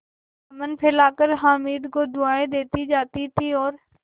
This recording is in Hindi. दामन फैलाकर हामिद को दुआएँ देती जाती थी और